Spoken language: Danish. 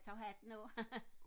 jeg tager hatten af